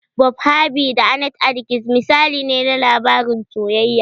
"Bob Harvey da Annete Adkins" misali ne na labarin soyayya.